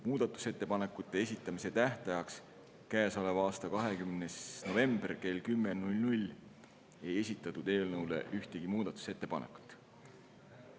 Muudatusettepanekute esitamise tähtajaks, käesoleva aasta 20. novembriks kella 10-ks ei esitatud eelnõu kohta ühtegi muudatusettepanekut.